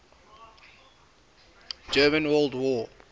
german world war